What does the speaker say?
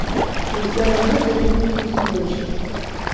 у тебя найдется фильм вкус ночи